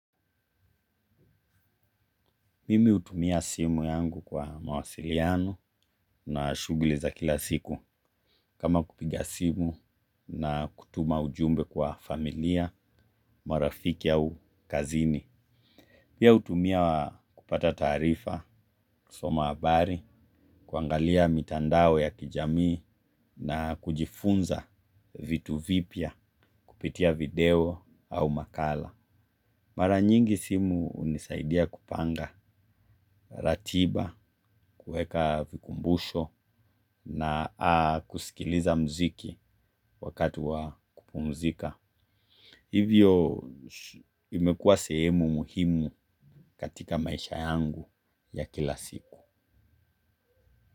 Mimi utumia simu yangu kwa mawasiliano na shuguli za kila siku kama kupiga simu na kutuma ujumbe kwa familia, marafiki au kazini. Pia, utumia kupata taarifa, kusoma abari, kuangalia mitandao ya kijamii na kujifunza vitu vipya kupitia video au makala. Mara nyingi simu unisaidia kupanga, ratiba, kueka vikumbusho na kusikiliza mziki wakatuwa kupumzika. Hivyo, imekua sehemu muhimu katika maisha yangu ya kila siku.